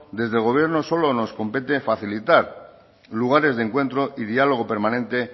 desde el gobierno solo nos compete facilitar lugares de encuentro y diálogo permanente